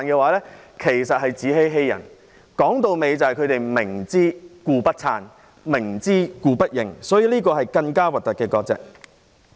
歸根究底，他們只是明知故不撐，明知故不認，這是更醜陋的割席。